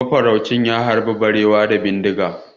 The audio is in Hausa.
Mafaraucin ya harbi barewa da bindigarsa.